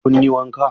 Kun yi wanka?